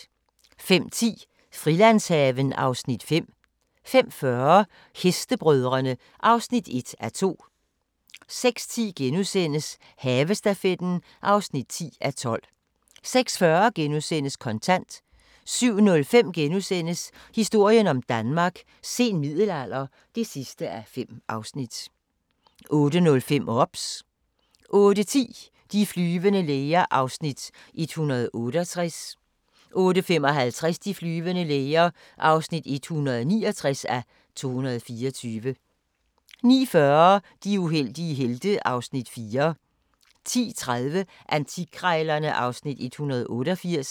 05:10: Frilandshaven (Afs. 7) 05:40: Hestebrødrene (1:2) 06:10: Havestafetten (10:12)* 06:40: Kontant * 07:05: Historien om Danmark: Sen middelalder (5:5)* 08:05: OBS 08:10: De flyvende læger (168:224) 08:55: De flyvende læger (169:224) 09:40: De uheldige helte (Afs. 4) 10:30: Antikkrejlerne (Afs. 188)